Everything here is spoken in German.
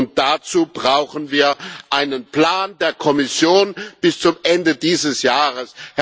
Und dazu brauchen wir einen Plan der Kommission bis zum Ende dieses Jahres.